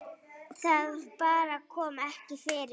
Það bara kom ekki fyrir.